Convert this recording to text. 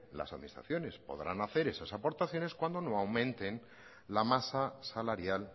las administraciones podrán hacer esas aportaciones cuando no aumenten la masa salarial